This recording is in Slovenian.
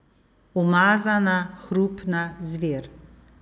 Umazana, hrupna zver.